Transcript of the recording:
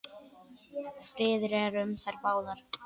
Friður er um þær báðar.